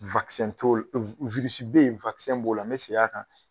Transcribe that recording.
t'o b'o la n bɛ segin a kan